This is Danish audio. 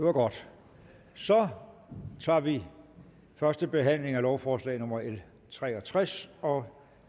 er godt så tager vi førstebehandlingen af lovforslag nummer l tre og tres og